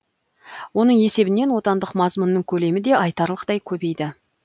оның есебінен отандық мазмұнның көлемі де айтарлықтай көбейді